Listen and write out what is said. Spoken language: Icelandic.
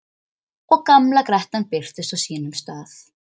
Og gamla grettan birtist á sínum stað.